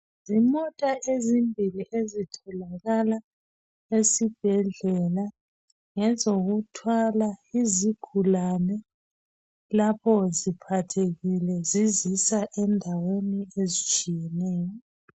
Zimota ezimbili ezitholakala esibhedlela. Ngezokuthwala izigulane lapho ziphathekile zizisa endaweni ezitshiyeneyo.